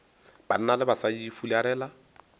banna le basadi ba fularela